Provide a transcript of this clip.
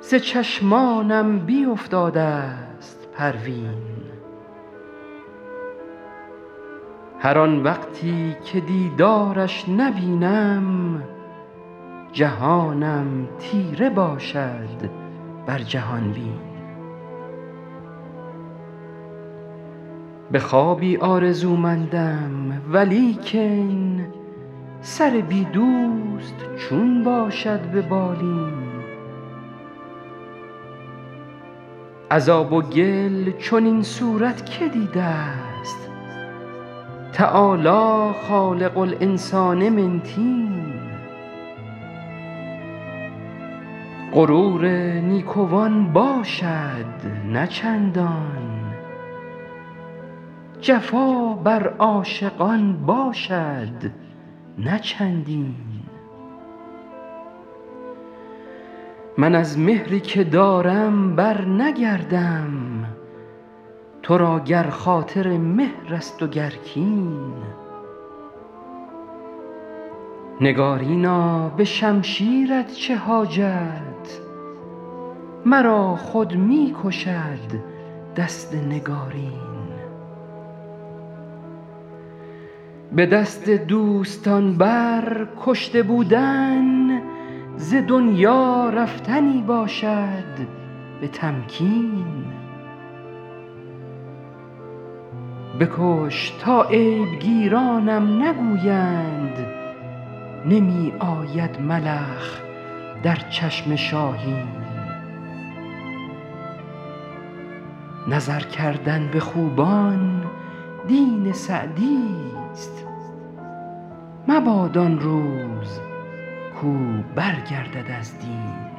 ز چشمانم بیفتاده ست پروین هر آن وقتی که دیدارش نبینم جهانم تیره باشد بر جهان بین به خوابی آرزومندم ولیکن سر بی دوست چون باشد به بالین از آب و گل چنین صورت که دیده ست تعالی خالق الانسان من طین غرور نیکوان باشد نه چندان جفا بر عاشقان باشد نه چندین من از مهری که دارم برنگردم تو را گر خاطر مهر است و گر کین نگارینا به شمشیرت چه حاجت مرا خود می کشد دست نگارین به دست دوستان بر کشته بودن ز دنیا رفتنی باشد به تمکین بکش تا عیب گیرانم نگویند نمی آید ملخ در چشم شاهین نظر کردن به خوبان دین سعدیست مباد آن روز کاو برگردد از دین